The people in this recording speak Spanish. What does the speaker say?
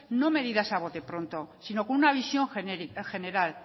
no medidas a botepronto sino con una visión general